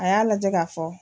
A y'a lajɛ k'a fɔ